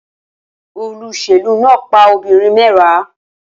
Olóṣèlú náà pa obìnrin mẹ́wàá